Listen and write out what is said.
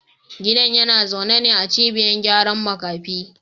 Gidan yana zaune ne a cibiyar gyara makafi